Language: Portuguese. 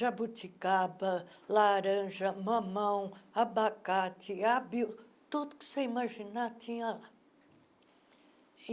jabuticaba, laranja, mamão, abacate, abio, tudo que você imaginar tinha lá.